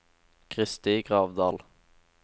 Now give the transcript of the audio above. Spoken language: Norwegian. Kristi Gravdal